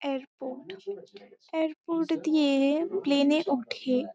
Airport airport দিয়ে- এ plane এ উঠে।